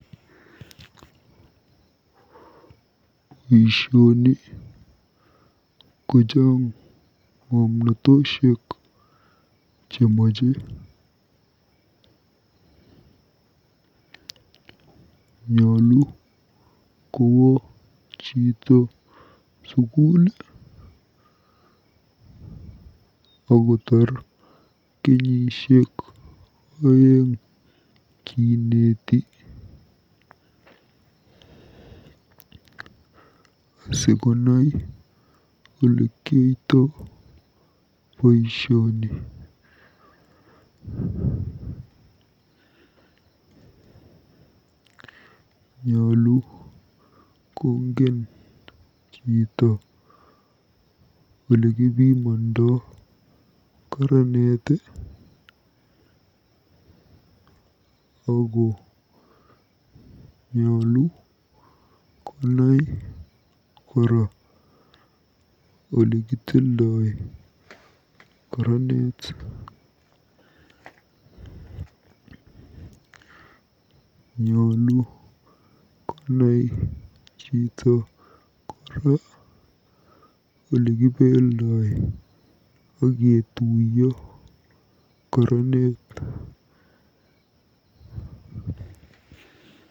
Boisioni ko chaang ng'omnotosiek chemache. Nyulu kowo chito sukul akotaar kenyisiek oeng kineeti asikonai olekioto boisioni. Nyolu kongen chito olekipimondo karaneret ako nyolu konai kora olekitildo karanet. Nyolu konai chito kora olekibeldoi aketuiyoi karanet.